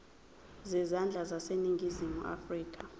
zezandla zaseningizimu afrika